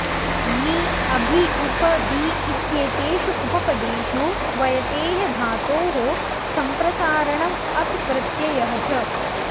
नि अभि उप वि इत्येतेषु उपपदेषु ह्वयतेः धातोः सम्प्रसारणम् अप् प्रत्ययः च